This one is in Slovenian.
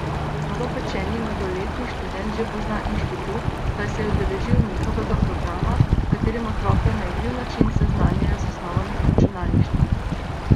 Novopečeni mladoletni študent že pozna inštitut, saj se je udeležil njihovega programa, s katerim otroke na igriv način seznanjajo z osnovami računalništva.